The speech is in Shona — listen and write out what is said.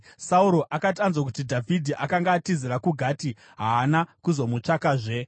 Sauro akati anzwa kuti Dhavhidhi akanga atizira kuGati, haana kuzomutsvakazve.